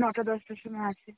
নটা দশটার সময় আসে.